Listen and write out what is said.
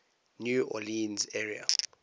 new orleans area